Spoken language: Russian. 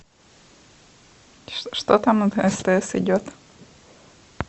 что там на стс идет